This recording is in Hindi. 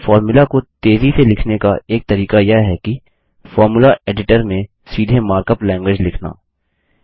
लेकिन फोर्मुला को तेज़ी से लिखने का एक तरीका यह है कि फोर्मुला एडिटर में सीधे मार्कअप लैंगग्वेज लिखना